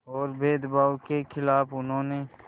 और भेदभाव के ख़िलाफ़ उन्होंने